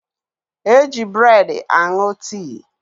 Eji breedi aṅụ tii